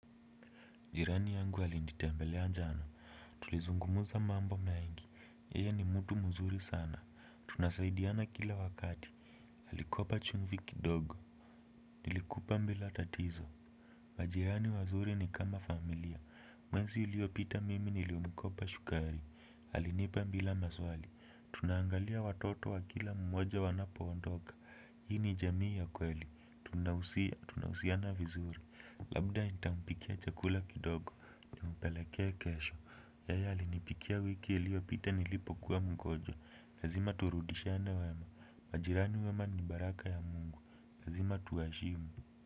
Jirani yangu alinitembelea jana. Tulizungumuza mambo mengi yeye ni mtu muzuri sana. Tunasaidiana kila wakati alikopa chumvi kidogo. Nilikupa mbila tatizo. Majirani wazuri ni kama familia. Mwenzi uliopita mimi nilimukopa shukari. Alinipa bila maswali tunaangalia watoto wa kila mmoja wanapo ondoka. Hii ni jamii ya kweli tunahusia, tunahusiana vizuri. Labda nitampikia chakula kidogo. Nimupelekee kesho, yeye alinipikia wiki iliyopita nilipokuwa mgonjwa, lazima turudishiane wema, majirani wema ni baraka ya mungu, lazima tuwaheshimu.